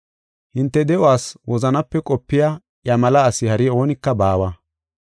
Hinte de7uwas wozanape qopiya iya mela asi hari oonika baawa.